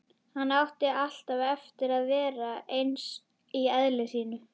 Hann átti alltaf eftir að verða eins í eðli sínu.